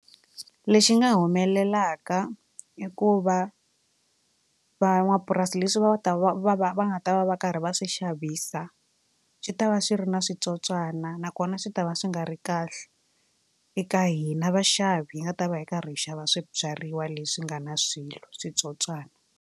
Lexi nga humelelaka i ku va van'wapurasi leswi va nga ta va va va va nga ta va va karhi va swi xavisa swi tava swi ri na switsotswana nakona swi ta va swi nga ri kahle eka hina vaxavi hi nga ta va hi karhi hi xava swibyariwa leswi nga na swilo switsotswana.